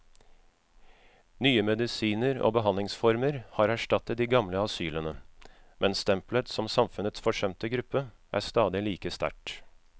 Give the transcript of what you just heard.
Nye medisiner og behandlingsformer har erstattet de gamle asylene, men stempelet som samfunnets forsømte gruppe er stadig like sterkt.